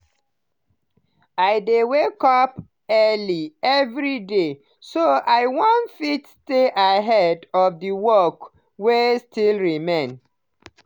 i dey wake up early every day so i fit stay ahead of the work wey still remain.